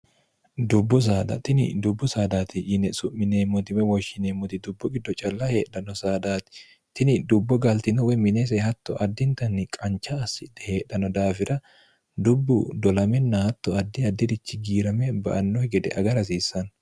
dubbu dtini dubbu saadaati yine su'mineemmotime woshshineemmoti dubbu giddo calla heedhanno saadaati tini dubbo gaaltino wemineese hatto addintanni qancha assidhe heedhanno daafira dubbu dolaminn hatto addi addirichi giirame ba anno gede agar hasiissanno